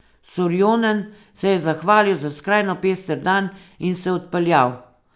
Sorjonen se je zahvalil za skrajno pester dan in se odpeljal.